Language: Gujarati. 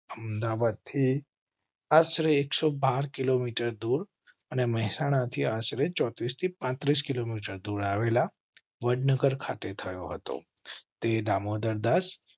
અમદાવાદ થી આશરે એકસો બાર કિલોમીટર દૂર અને મહેસાણા થી આશરે ચોત્રીસ થી પાંત્રીસ કિલોમીટર દૂર આવેલા વડનગર ખાતે થયો હતો. તે દામોદરદાસ